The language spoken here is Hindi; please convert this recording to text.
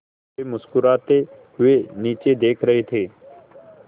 वे मुस्कराते हुए नीचे देख रहे थे